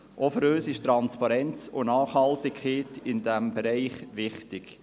Auch für uns sind Transparenz und Nachhaltigkeit in diesem Bereich wichtig.